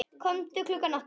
Komdu klukkan átta.